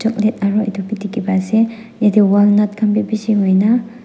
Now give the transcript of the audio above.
plate aro etu bhi dikhi pai ase yate walnut khan bhi bishi hoina--